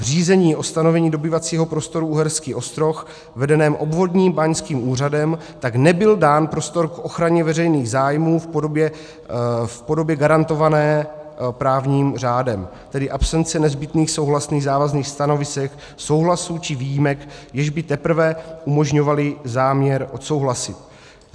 V řízení o stanovení dobývacího prostoru Uherský Ostroh vedeném obvodním báňským úřadem tak nebyl dán prostor k ochraně veřejných zájmů v podobě garantované právním řádem, tedy absence nezbytných souhlasných závazných stanovisek, souhlasů či výjimek, jež by teprve umožňovaly záměr odsouhlasit.